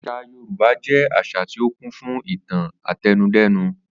Às̩à Yorùbá jé̩ às̩à tí ó kún fún ìtàn àte̩nudé̩nu